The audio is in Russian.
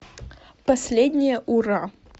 последнее ура